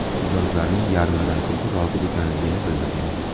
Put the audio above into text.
Mijozlarning yarmidan ko‘pi rozi ekanligini bildirgan.